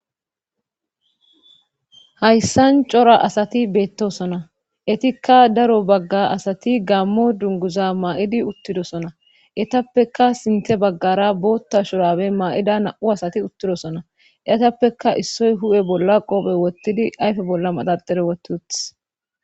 Hayssan cora asati beettosona etikka daro bagga asati gammo dunguza maa'idi uttidosona etappeka sinte baggara bootta shurabe ma'ida na'u asati uttidosona etappeka issoy hu'e bolla qoophe wottidi ayfe bolla maxardere wotuth.